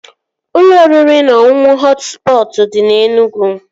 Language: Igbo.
Ụlọ oriri na ọṅụṅụ Họt Spọtụ dị na Enugwu